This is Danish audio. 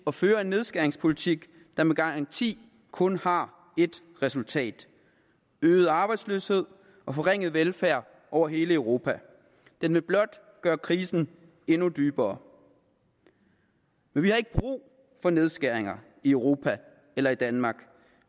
at føre en nedskæringspolitik der med garanti kun har et resultat øget arbejdsløshed og forringet velfærd over hele europa den vil blot gøre krisen endnu dybere vi har ikke brug for nedskæringer i europa eller i danmark